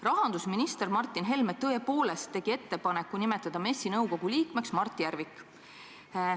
Rahandusminister Martin Helme tõepoolest tegi ettepaneku nimetada MES-i nõukogu liikmeks Mart Järvik.